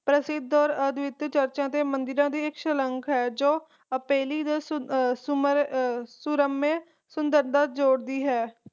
ਪ੍ਰਸਿੱਧ ਔਰ ਅੜਬੁੱਧ ਚਰਚਾ ਤੇ ਮੰਦਿਰਾਂ ਦੀ ਇੱਕ ਸ਼ਲਾਂਘਾ ਹੈ ਜੋ ਆਪੇਲੀ ਦੇ ਸੁਮਨ ਸੂਰਮਿਆਂ ਸੁੰਦਰਤਾ ਜੋੜਦੀ ਹੈ